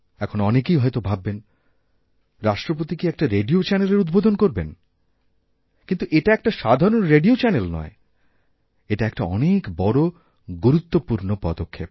এখন অনেকেই হয়ত ভাববেন রাষ্ট্রপতি কি একটা রেডিও চ্যানেলেরউদ্বোধন করবেন কিন্তু এটা একটা সাধারণ রেডিও চ্যানেল নয় এটা একটা অনেক বড়গুরুত্বপূর্ণ পদক্ষেপ